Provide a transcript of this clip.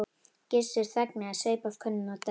Gissur þagnaði, saup af könnunni og dæsti.